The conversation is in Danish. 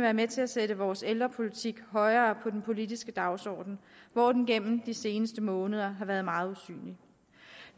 være med til at sætte vores ældrepolitik højere på den politiske dagsorden hvor den gennem de seneste måneder har været meget usynlig